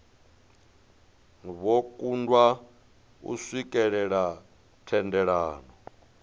vho kundwa u swikelela thendelano